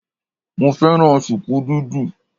Mo fẹ́ràn sùkú dídì